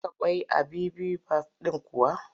Ta saka ƙwai a bibimbaf ɗin kuwa?